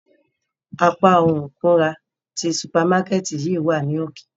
Apa ohun ikunra ti supamakẹti yii wa ni oke.